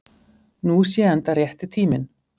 Nú sé enda rétti tíminn